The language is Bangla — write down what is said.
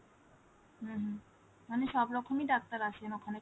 হম হম মানে সব রকমই ডাক্তার আসেন ওখানে ?